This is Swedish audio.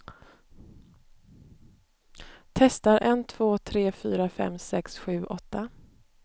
Testar en två tre fyra fem sex sju åtta.